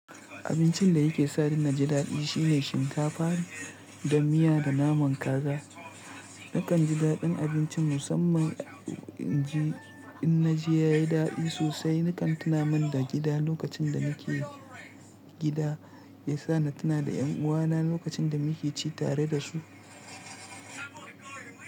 Abincin da yake sa ni na ji daɗi shine shinkafa da miya da naman kaza. Nakan ji daɗin abincin musamman in ji, in na ji ya yi daɗi sosai. Nakan tuna mun da gida lokacin da nake gida, ya sa na tuna da ƴan uwana lokacin da muke ci tare da su.